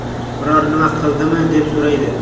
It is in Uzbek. Biror nima qildimi, deb so‘raydi.